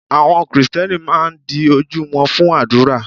Àwọn Kristẹni máa ń di ojú wọn fún àdúrà.